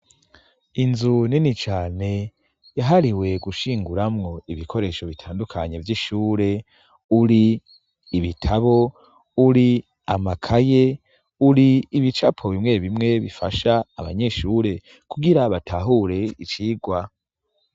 Inzu nini cane yahariwe gushinguramwo ibikoresho bitandukanye vy'ishure, uri ibitabo uri amakaye uri ibicapo bimwe bimwe bifasha abanyeshure kungira batahure icigwa.